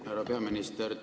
Härra peaminister!